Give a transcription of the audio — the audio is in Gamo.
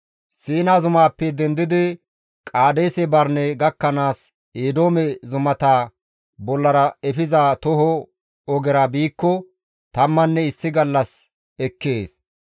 Siina zumaappe dendidi Qaadeese Barine gakkanaas Eedoome zumata bollara efiza toho ogera biikko tammanne issi gallas ekkees.